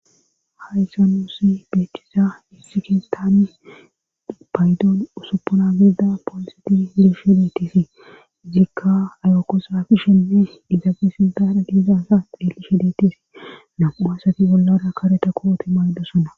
Hayssa nuusi beechisa hixikistaani paydoon usuppuna gizida pooliseti hirishe deetisi ziikka ayokusafishenne idabesindar giizansa elishe deetis namu asati gollara kareta koote maydosonna.